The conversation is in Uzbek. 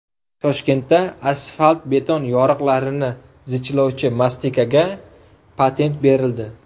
Toshkentda asfalt-beton yoriqlarini zichlovchi mastikaga patent berildi.